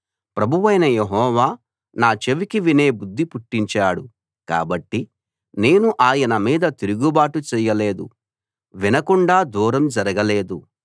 ప్రభువైన యెహోవా నా చెవికి వినే బుద్ధి పుట్టించాడు కాబట్టి నేను ఆయన మీద తిరుగుబాటు చేయలేదు వినకుండా దూరం జరగలేదు